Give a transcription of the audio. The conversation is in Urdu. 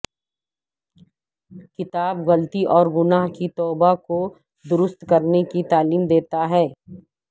کتاب غلطی اور گناہ کی توبہ کو درست کرنے کی تعلیم دیتا ہے